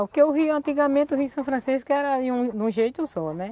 Porque o rio antigamente, o rio São Francisco era de um de um jeito só, né?